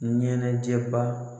Ɲɛnɛjɛ baa